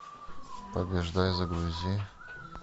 побеждай загрузи